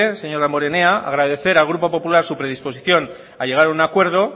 señor damborenea agradecer el grupo popular su predisposición a llegar a un acuerdo